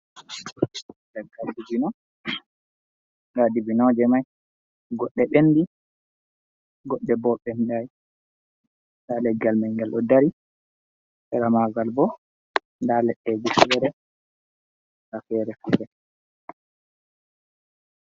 Leggal dibino, nda dibinoje mai goɗɗe ɓendi goɗɗe bo ɓendai, nda leggal mai ngal ɗo dari, seera magal bo nda leɗɗeji fere nda fere-fere.